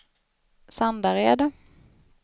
Sandared